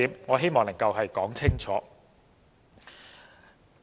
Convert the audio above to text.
我希望能夠說清楚這一點。